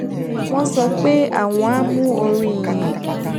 wón sọ pé àwọn á mú orin ìyìn